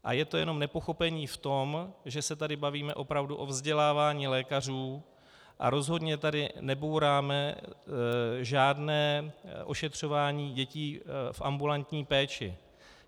A je to jenom nepochopení v tom, že se tady bavíme opravdu o vzdělávání lékařů a rozhodně tady nebouráme žádné ošetřování dětí v ambulantní péči.